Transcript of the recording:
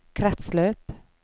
kretsløp